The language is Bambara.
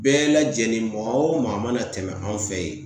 Bɛɛ lajɛlen, maa o maa mana tɛmɛ anw fɛ yen